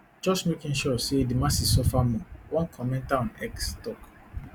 just making sure say di masses suffer more one commenter on x tok